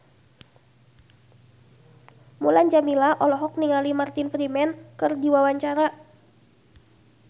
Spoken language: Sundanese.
Mulan Jameela olohok ningali Martin Freeman keur diwawancara